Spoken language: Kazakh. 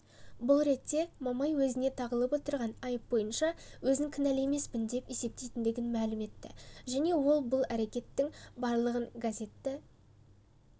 бұл ретте мамай өзіне тағылып отырған айып бойынша өзін кінәлі емеспін деп есептейтіндігін мәлім етті және ол бұл әрекеттің барлығын газетті